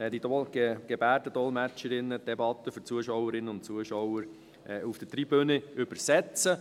Gebärdendolmetscherinnen würden dann die für die Zuschauerinnen und Zuschauer auf der Tribüne übersetzen.